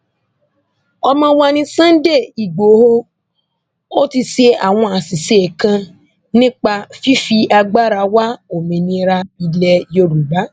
ọmọ wa ní sunday igboro ò ti ṣe àwọn àṣìṣe kan nípa fífi agbára wa òmìnira ilẹ yorùbá